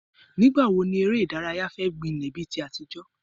Ìgbà wo ni eré ìdárayá fẹ́ gbilẹ̀ bí ti àtijọ́?